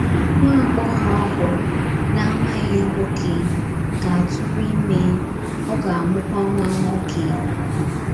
Nwa agbọghọ ahụ na - amaghị nwoke ga - atụrụ ime, ọ ga - amụkwa nwa nwoke. ’”